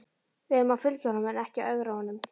Við eigum að fylgja honum en ekki ögra honum.